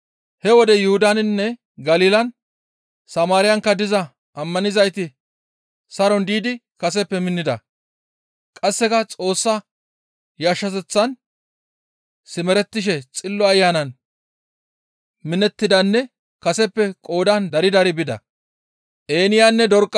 He wode Yuhudaninne Galilan, Samaariyankka diza ammanizayti saron diidi kaseppe minnida; qasseka Xoossa yashshateththan simerettishe Xillo Ayanan minettidanne kaseppe qoodan dari dari bida.